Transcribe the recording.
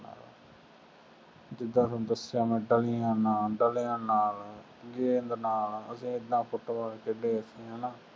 ਜਿੱਦਾਂ ਤੁਹਾਨੂੰ ਦੱਸਿਆ ਮੈਂ ਡਲੀਆਂ ਨਾਲ, ਡਲਿਆਂ ਨਾਲ, ਗੇਂਦ ਨਾਲ, ਅਸੀਂ ਐਨਾ ਫੁੱਟਬਾਲ ਖੇਡੇ, ਅਸੀਂ ਹੈ ਨਾ